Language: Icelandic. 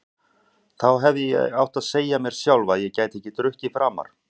Þá hefði ég átt að segja mér sjálf að ég gæti ekki drukkið framar.